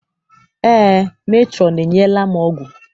Eé, metrọn enyela m ọgwụ.